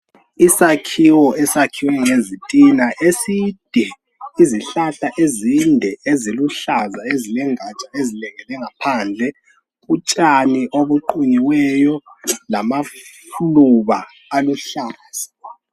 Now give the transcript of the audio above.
Isakhiwo esakhiwe ngezitina eside izihlahla ezinde eziluhlaza ezilengaja ezilengele ngaphandle utshani obuqunyiweyo lamaluba aluhlaza